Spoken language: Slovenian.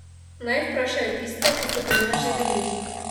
Naj vprašajo tiste, ki so pri nas že bili.